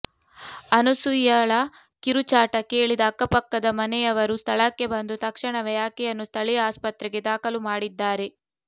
ಅನುಸೂಯಳ ಕಿರುಚಾಟ ಕೇಳಿದ ಅಕ್ಕಪಕ್ಕದ ಮನೆಯವರು ಸ್ಥಳಕ್ಕೆ ಬಂದು ತಕ್ಷಣವೆ ಆಕೆಯನ್ನು ಸ್ಥಳೀಯ ಆಸ್ಪತ್ರೆಗೆ ದಾಖಲು ಮಾಡಿದ್ದಾರೆ